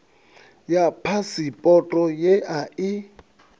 ḽa phasipoto ye a i